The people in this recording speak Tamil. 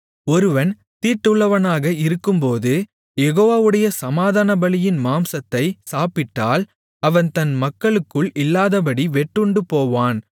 ஒருவன் தீட்டுள்ளவனாக இருக்கும்போது யெகோவாவுடைய சமாதானபலியின் மாம்சத்தைச் சாப்பிட்டால் அவன் தன் மக்களுக்குள் இல்லாதபடி வெட்டுண்டுபோவான்